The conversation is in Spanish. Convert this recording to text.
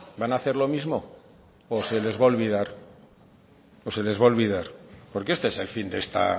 van a hacer lo mismo o se les va a olvidar o se les va a olvidar porque este es el fin de esta